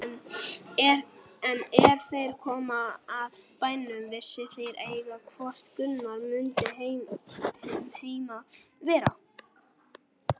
En er þeir komu að bænum vissu þeir eigi hvort Gunnar mundi heima vera.